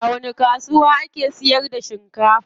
A wani kasuwa ake sayar da shinkafa?